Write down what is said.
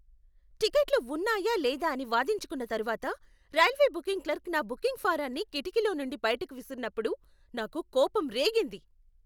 టిక్కెట్లు ఉన్నాయా లేదా అని వాదించుకున్న తరువాత రైల్వే బుకింగ్ క్లర్క్ నా బుకింగ్ ఫారాన్ని కిటికీలో నుండి బయటకు విసిరినప్పుడు నాకు కోపం రేగింది.